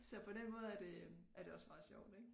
Så på den måde er det er det også meget sjovt ikke